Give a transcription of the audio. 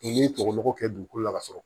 n'i tɔgɔ mugu kɛ dugukolo la ka sɔrɔ